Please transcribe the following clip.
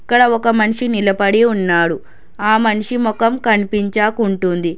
ఇక్కడ ఒక మనిషి నిలబడి ఉన్నాడు ఆ మనిషి మొఖం కనిపించకుంటుంది.